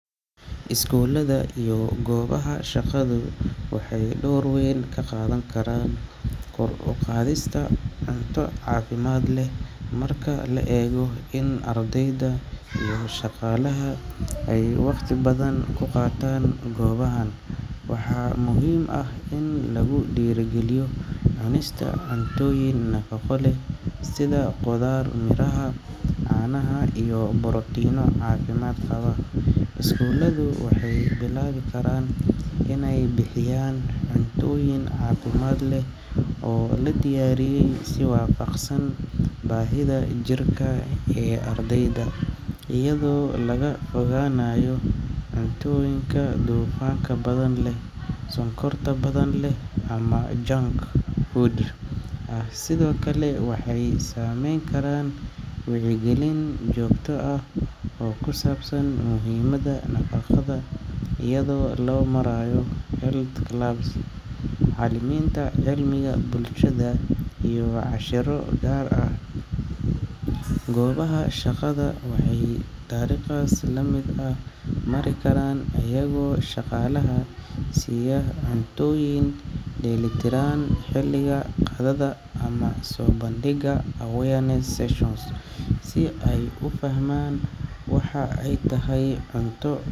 Iskuulada iyo goobaha shaqadu waxay door weyn ka qaadan karaan kor u qaadista cunto caafimaad leh. Marka la eego in ardayda iyo shaqaalaha ay waqti badan ku qaataan goobahan, waxaa muhiim ah in lagu dhiirrigeliyo cunista cuntooyin nafaqo leh sida khudaar, miraha, caanaha, iyo borotiinno caafimaad qaba. Iskuuladu waxay bilaabi karaan inay bixiyaan cuntooyin caafimaad leh oo la diyaariyay si waafaqsan baahida jirka ee ardayda, iyadoo laga fogaanayo cuntooyinka dufanka badan leh, sonkorta badan leh, ama junk food ah. Sidoo kale, waxay samayn karaan wacyigelin joogto ah oo ku saabsan muhiimadda nafaqada iyada oo loo marayo health clubs, macallimiinta cilmiga bulshada, iyo casharro gaar ah. Goobaha shaqada waxay dariiqaas la mid ah mari karaan iyagoo shaqaalaha siiya cuntooyin dheellitiran xilliga qadada, ama soo bandhiga awareness sessions si ay u fahmaan waxa ay tahay cunto.